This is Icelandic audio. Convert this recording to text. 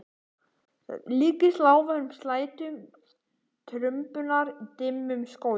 Líkist lágværum slætti trumbunnar í dimmum skógi.